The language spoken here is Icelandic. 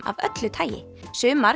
af öllu tagi sumar